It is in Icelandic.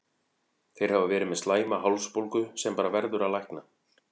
Þeir hafa verið með slæma hálsbólgu sem bara verður að lækna.